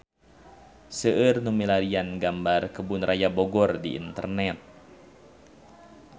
Seueur nu milarian gambar Kebun Raya Bogor di internet